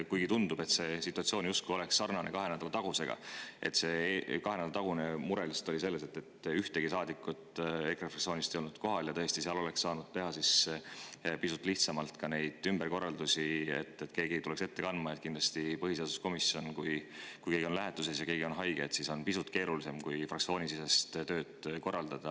Kuigi tundub, et see situatsioon on justkui sarnane kahe nädala taguse situatsiooniga – kahe nädala tagune mure oli see, et ühtegi saadikut EKRE fraktsioonist ei olnud kohal ja tõesti oleks saanud teha pisut lihtsamalt ümberkorraldusi, et keegi tuleks ettekandjaks –, siis kindlasti on juhul, kui põhiseaduskomisjonist keegi on lähetuses ja keegi on haige, pisut keerulisem tööd korraldada kui fraktsioonisiseselt.